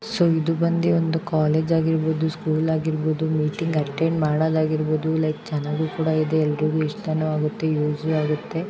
ಇದು ಬಂದು ಒಂದು ಕಾಲೇಜ್ ಆಗಿರಬಹುದು ಸ್ಕೂಲ್ ಆಗಿರಬಹುದು ಮೀಟಿಂಗ್ ಅಟೆಂಡ್ ಮಾಡೋದು ಅಗಿರಬಹುದು ಚೆನಾಗೂ ಕೂಡ ಇದೆ ಎಲ್ಲರಿಗೂ ಇಷ್ಟ ಕೂಡ ಆಗುತ್ತೆ ಯೂಸ್ ಆಗುತ್ತೆ.